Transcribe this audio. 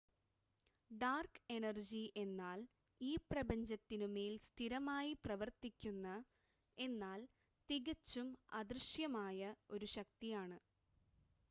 dark energy എന്നാൽ ഈ പ്രപഞ്ചത്തിനുമേൽ സ്ഥിരമായി പ്രവർത്തിക്കുന്ന എന്നാൽ തികച്ചും അദൃശ്യമായ ഒരു ശക്തിയാണ്